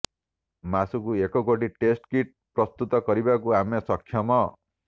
ମାସକୁ ଏକ କୋଟି ଟେଷ୍ଟ କିଟ୍ ପ୍ରସ୍ତୁତ କରିବାକୁ ଆମେ ସକ୍ଷମ